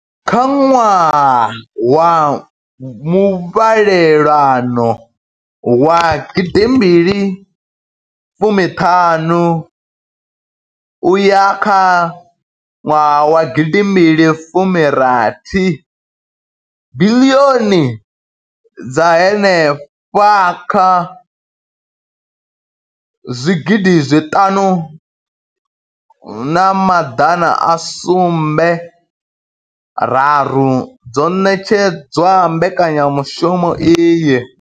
Kha ṅwaha wa muvhalelano wa gidi mbili fumi ṱhanu uya kha nwaha wa gidi mbili fumi rathi, biḽioni dza henefha kha zwigidi zwiṱanu na maḓana a sumbe raru dzo ṋetshedzwa mbekanyamushumo iyi.